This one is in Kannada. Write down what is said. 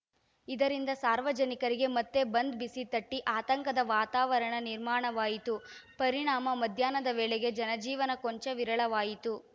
ಇದರಿಂದ ಸಾರ್ವಜನಿಕರಿಗೆ ಮತ್ತೆ ಬಂದ್‌ ಬಿಸಿ ತಟ್ಟಿಆತಂಕದ ವಾತಾವರಣ ನಿರ್ಮಾಣವಾಯಿತು ಪರಿಣಾಮ ಮಧ್ಯಾಹ್ನದ ವೇಳೆಗೆ ಜನಜೀನವ ಕೊಂಚ ವಿರಳವಾಯಿತು